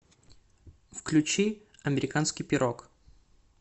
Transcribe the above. включи американский пирог